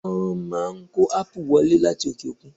Wọ́n má kó ápù wọlé láti òkè òkun.